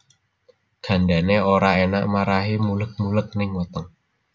Gandané ora enak marahi muleg muleg ning weteng